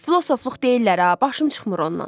Filosofluq deyirlər ha, başım çıxmır ondan.